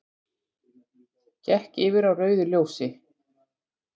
Gekk yfir á rauðu ljósi